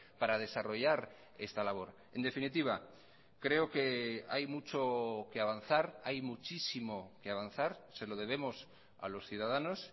para desarrollar esta labor en definitiva creo que hay mucho que avanzar hay muchísimo que avanzar se lo debemos a los ciudadanos